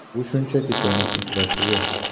Bu shunchaki tennis uchrashuvi.